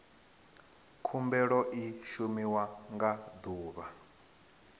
khumbelo i shumiwa nga ḓuvha